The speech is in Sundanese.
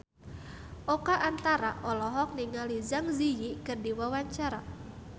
Oka Antara olohok ningali Zang Zi Yi keur diwawancara